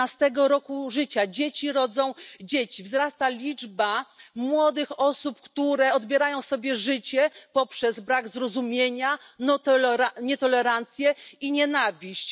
15. roku życia, dzieci rodzą dzieci, wzrasta liczba młodych osób, które odbierają sobie życie przez brak zrozumienia, nietolerancję i nienawiść.